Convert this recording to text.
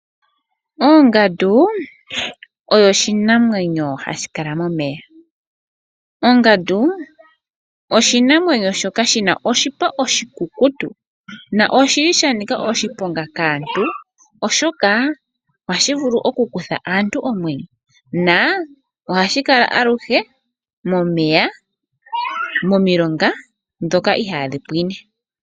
Ongandu oyo oshinamwenyo hashi kala momeya. Ongandu oshinamwenyo shoka shina oshipa oshikukutu na oshi li sha nika oshiponga kaantu oshoka ohashi vulu okukutha aantu omwenyo. Sho ohashi kala aluhe momeya momilonga ndhoka ihaadhi pwine.